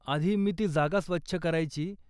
आधी, मी ती जागा स्वच्छ करायची.